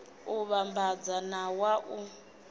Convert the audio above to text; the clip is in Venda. u vhambadza na wa u